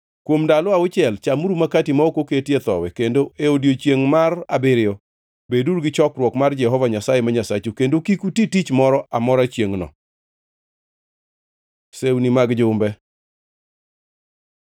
Kuom ndalo auchiel chamuru makati ma ok oketie thowi kendo e odiechiengʼ mar abiriyo beduru gi chokruok mar Jehova Nyasaye ma Nyasachu kendo kik uti tich moro amora chiengʼno. Sewni mag jumbe